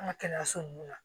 An ka kɛnɛyaso nunnu na